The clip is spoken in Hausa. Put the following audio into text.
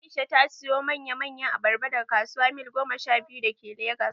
Aisha ta siyo mana manya manyan abarba daga kasuwar Mil goma sha biyu da ke Legas